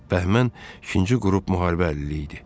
Bəhmən ikinci qrup müharibə əlili idi.